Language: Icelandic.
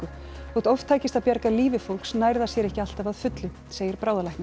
þótt oft takist að bjarga lífi fólks nær það sér ekki alltaf að fullu segir